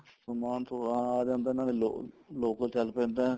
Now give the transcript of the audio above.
ਸਮਾਨ ਤਾਂ ਆ ਜਾਂਦਾ ਨਾਲੇ local ਚੱਲ ਪੈਂਦਾ